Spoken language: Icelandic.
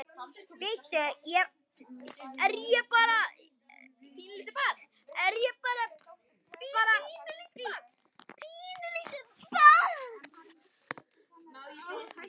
Bíddu, er ég bara, er ég bara bí, pínulítið barn?